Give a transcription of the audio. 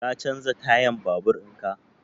Ka canza tayan babur in ka?